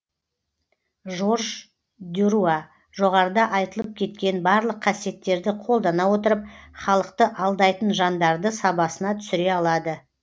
жорж дюруа жоғарыда айтылып кеткен барлық қасиеттерді қолдана отырып халықты алдайтын жандарды сабасына түсіре алады